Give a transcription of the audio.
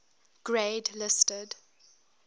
grade listed